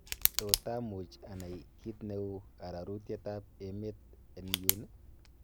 tot amuch anai ki neu arorutyet ab emet en yun ii